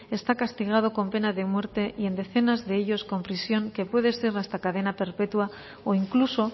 está castigado con pena de muerte y en decenas de ellos con prisión que puede ser hasta cadena perpetua o incluso